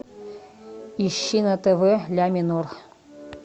ищи на тв ля минор